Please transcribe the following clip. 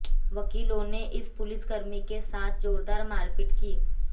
वकीलों ने इस पुलिसकर्मी के साथ जोरदार मारपीट की